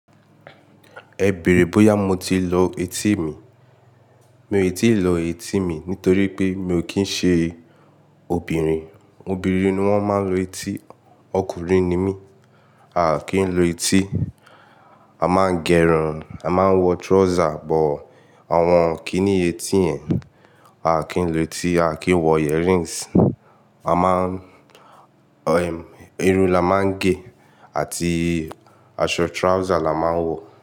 Ẹ bèèrè bóyá mo ti lọ etí mi. Mi ò tíì lọ etí mi nítorí pé mi ò kì ń ṣe obìnrin. Obìnrin ni wọ́n máa ń lu etí, ọkùnrin ni mí, aà kì í lu etí. A máa ń gẹrun, a máa ń wọ trouser, but àwọn kiní etí yẹn A à kì í lu etí, a à kì í wọ earrings. A máa ń, irun la máa ń gé àti aṣọ trouser la máa ń wọ̀